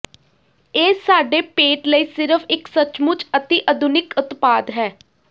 ਇਹ ਸਾਡੇ ਪੇਟ ਲਈ ਸਿਰਫ ਇੱਕ ਸੱਚਮੁੱਚ ਅਤਿ ਅਧੁਨਿਕ ਉਤਪਾਦ ਹੈ